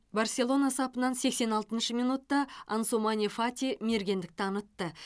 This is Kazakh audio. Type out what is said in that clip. барселона сапынан сексен алтыншы минутта ансумане фати мергендік танытты